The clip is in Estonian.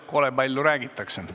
Kole palju räägitakse.